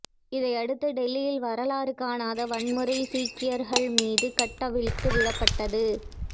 இதையடுத்து டெல்லியில் வரலாறு காணாத வன்முறை சீக்கியர்கள் மீது கட்டவிழ்த்து விடப்பட்டது